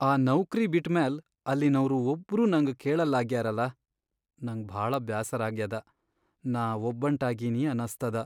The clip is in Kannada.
ಆ ನೌಕ್ರಿ ಬಿಟ್ಮ್ಯಾಲ್ ಅಲ್ಲಿನೌರ್ ಒಬ್ರೂ ನಂಗ್ ಕೇಳಲ್ಲಾಗ್ಯಾರಲ, ನಂಗ್ ಭಾಳ ಬ್ಯಾಸರಾಗ್ಯಾದ ನಾ ಒಬ್ಬಂಟಾಗೀನಿ ಅನಸ್ತದ.